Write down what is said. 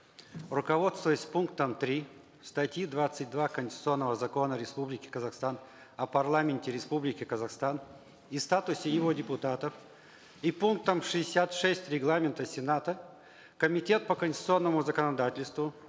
руководствуясь пунктом три статьи двадцать два конституционного закона республики казахстан о парламенте республики казахстан и статусе его депутатов и пунктом шестьдесят шесть регламента сената комитет по конституционному законодательству